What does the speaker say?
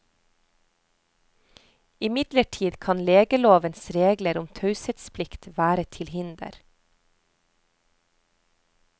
Imidlertid kan legelovens regler om taushetsplikt være til hinder.